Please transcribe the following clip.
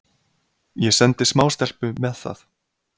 Ég sendi smástelpu með það.